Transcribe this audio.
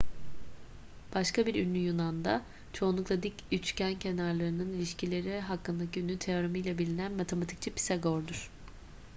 başka bir ünlü yunan da çoğunlukla dik üçgen kenarlarının ilişkileri hakkındaki ünlü teoremiyle bilinen matematikçi pisagor'dur